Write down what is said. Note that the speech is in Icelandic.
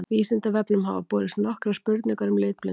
Vísindavefnum hafa borist nokkrar spurningar um litblindu.